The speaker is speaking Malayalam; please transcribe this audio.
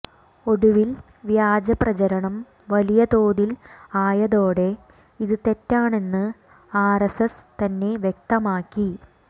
ഒടുവിൽ വ്യാജപ്രചരണം വലിയ തോതിൽ ആയതോടെ ഇത് തെറ്റാണെന്ന് ആർഎസ്എസ് തന്നെ വ്യക്തമാക്കി